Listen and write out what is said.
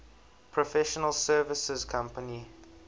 professional services company